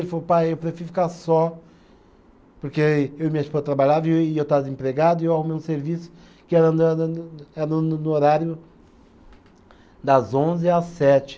Ele falou, pai, eu prefiro ficar só, porque eu e minha esposa trabalhava e eu estava desempregado e eu arrumei um serviço que era no no no era no no no, no horário das onze às sete.